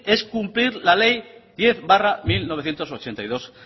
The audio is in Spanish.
es cumplir la ley diez barra mil novecientos ochenta y dos